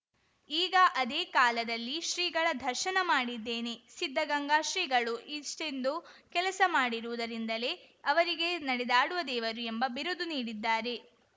ಈಗ ಅದೇ ಕಾಲದಲ್ಲಿ ಶ್ರೀಗಳ ದರ್ಶನ ಮಾಡಿದ್ದೇನೆ ಸಿದ್ಧಗಂಗಾ ಶ್ರೀಗಳು ಇಷ್ಟೊಂದು ಕೆಲಸ ಮಾಡಿರುವುದರಿಂದಲೇ ಅವರಿಗೆ ನಡೆದಾಡುವ ದೇವರು ಎಂಬ ಬಿರುದು ನೀಡಿದ್ದಾರೆ